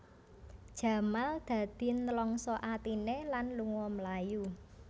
Jamal dadi nlangsa atiné lan lunga mlayu